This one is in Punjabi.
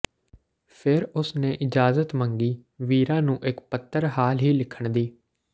ਫਿਰ ਉਸ ਨੇ ਇਜਾਜ਼ਤ ਮੰਗੀ ਵੀਰਾ ਨੂੰ ਇਕ ਪੱਤਰ ਹਾਲ ਹੀ ਲਿਖਣ ਦੀ